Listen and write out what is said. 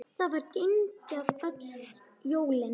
Það var grenjað öll jólin.